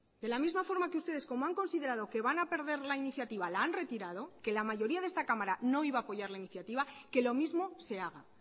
de la misma forma que ustedes como han considerado que van a perder la iniciativa la han retirado que la mayoría de esta cámara no iba a apoyar esta iniciativa que lo mismo se haga